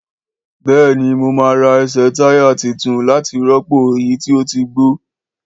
Béèni mo ma rà esè táyà titun láti rọ́pò èyí tí o tí gbó